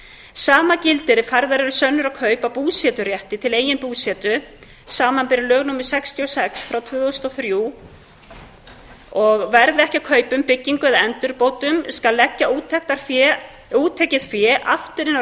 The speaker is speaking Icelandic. sama gildir ef færðar eru sönnur á kaup á búseturétti til eigin búsetu samanber lög númer sextíu og sex tvö þúsund og þrjú verði ekki af kaupunum byggingu eða endurbótum skal leggja úttekið fé aftur